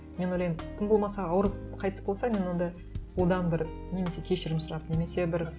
мен ойлаймын тым болмаса ауырып қайтыс болса мен онда одан бір немесе кешірім сұрап немесе бір